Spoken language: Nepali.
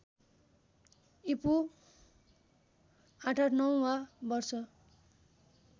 ईपू ८८९ वा वर्ष